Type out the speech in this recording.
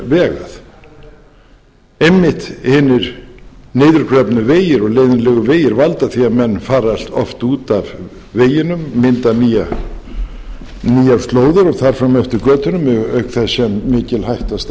vegað einmitt hinir niðurgröfnu vegir og leiðinlegu vegir valda því að menn fara oft út af veginum mynda nýjar slóðir og þar fram eftir götunum auk þess sem mikil hætta